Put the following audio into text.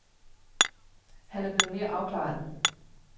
Han er blevet mere afklaret.